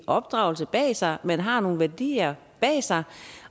opdragelse bag sig at man har nogle værdier bag sig